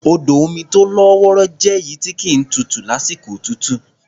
Odò omi tó lọ́ wọrọ́ jẹ́ èyí tí kì í tutù lásìkò òtútù.